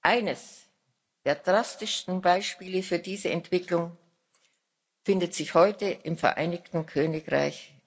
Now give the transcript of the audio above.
Eines der drastischsten Beispiele für diese Entwicklung findet sich heute im Vereinigten Königreich.